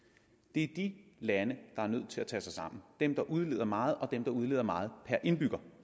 det er de lande der er nødt til at tage sig sammen dem der udleder meget og dem der udleder meget per indbygger